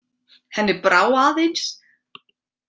Henni brá aðeins.